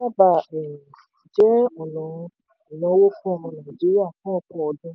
owó ló sábà um jẹ́ ọ̀nà ìnáwó fún ọmọ nàìjíríà fún ọ̀pọ̀ ọdún.